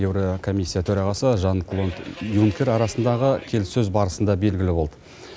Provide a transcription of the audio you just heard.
еурокомиссия төрағасы жан клод юнкер арасындағы келіссөз барысында белгілі болды